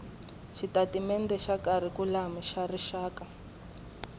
xitatimendhe xa kharikhulamu xa rixaka